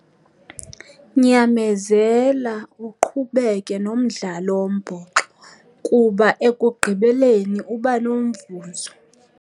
Nyamezela uqhubeke nomdlalo wombhoxo kuba ekugqibeleni uba nomvuzo.